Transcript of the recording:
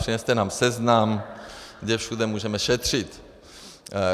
Přineste nám seznam, kde všude můžeme šetřit.